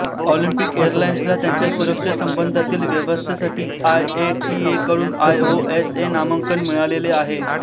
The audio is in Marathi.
ऑलिम्पिक एअरलाईन्सला त्यांच्या सुरक्षेसंबंधातील व्यवस्थेसाठी आयएटीए कडून आयओएसए मानांकन मिळालेले आहे